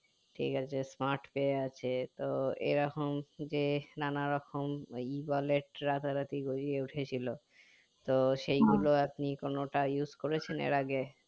ঠিক আছে Smartpay আছে তো এরকম যে নানা রকম ই বলের টা রাতারাতি গড়িয়ে উঠে ছিল তো সেই গুলো আপনি কোনটা use করেছেন এর আগে